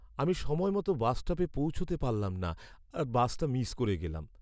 আমি সময়মতো বাসস্টপে পৌঁছাতে পারলাম না আর বাসটা মিস করে গেলাম।